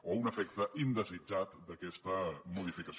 o un efecte indesitjat d’aquesta modificació